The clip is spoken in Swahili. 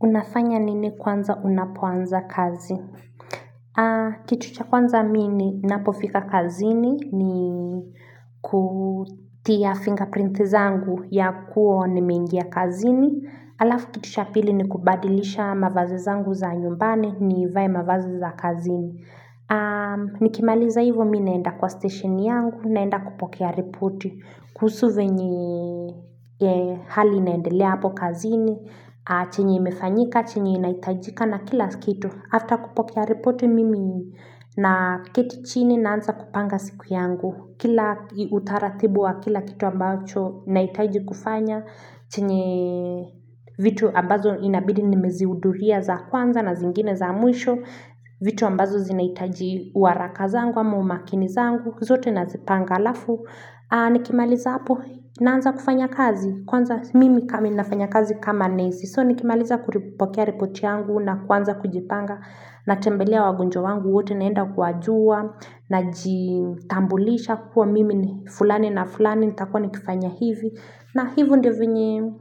Unafanya nini kwanza unapoanza kazi? Kitu cha kwanza mimi napofika kazini ni ni kutia fingerprint zangu ya kuo nimeingia kazini. Alafu kitu cha pili ni kubadilisha mavazi zangu za nyumbani nivae mavazi za kazini. Nikimaliza hivyo mi naenda kwa station yangu naenda kupokea report kuhusu zinye hali inaendelea hapo kazini. Chinye imefanyika, chenyi inahitajika na kila kitu After kupokea report mimi na keti chini naanza kupanga siku yangu Kila utaratibu wa kila kitu ambacho nahitaji kufanya Chinye vitu ambazo inabidi nimezihuduria za kwanza na zingine za mwisho vitu ambazo zinahitaji uwaraka zangu wa umakini zangu zote nazipanga halafu Nikimaliza hapo naanza kufanya kazi Kwanza mimi kama inafanya kazi kama nesi So nikimaliza ku kupokea report yangu na kwanza kujipanga Natembelea wagonjwa wangu wote naenda kuwajua Najitambulisha kuwa mimi ni fulani na fulani nitakua nikifanya hivi na hivyo ndivyo venye